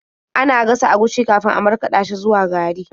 Ana gasa agushi kafin a markaɗa shi zuwa gari.